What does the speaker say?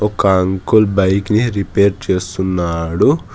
ఒక్క uncle bike ని repair చేస్తున్నాడు.